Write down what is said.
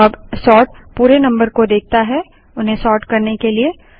अब सोर्ट पूरे नम्बर को देखता है उन्हें सोर्ट करने के लिए